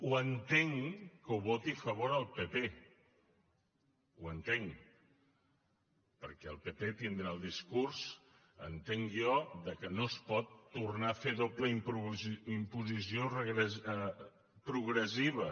ho entenc que ho voti a favor el pp ho entenc perquè el pp tindrà el discurs entenc jo que no es pot tornar a fer doble imposició progressiva